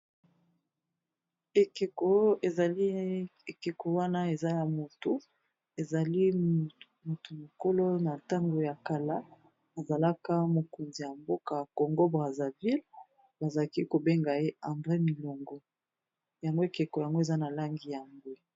Ekeko ezali ekeko wana eza ya moto ezali moto mokolo na tango ya kala azalaka mokonzi ya mboka congo braterville bazalaki kobenga ye endré milongo yango ekeko yango eza na langi ya mbwe.